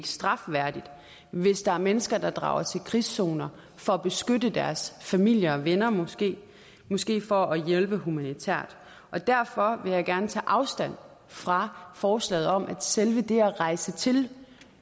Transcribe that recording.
strafværdigt hvis der er mennesker der drager til krigszoner for at beskytte deres familie og venner måske måske for at hjælpe humanitært og derfor vil jeg gerne tage afstand fra forslaget om at selve det at rejse til